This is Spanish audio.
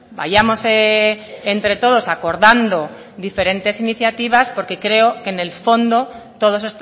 vayamos entre todos acordando diferentes iniciativas porque creo que en el fondo todos